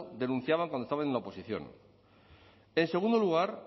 denunciaban cuando estaba en la oposición en segundo lugar